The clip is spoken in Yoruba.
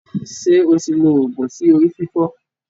Ṣé o ti lo oògun sí orí fífọ́.